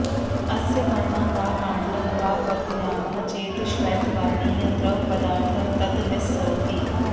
अस्य पर्णं वा काण्डं वा कर्तयामः चेत् श्वेतवर्णीयः द्रवपदार्थः ततः निस्सरति